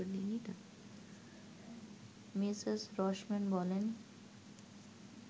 Mrs Rossman বলেন